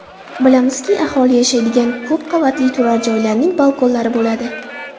Bilamizki, aholi yashaydigan ko‘p qavatli turar joylarning balkonlari bo‘ladi.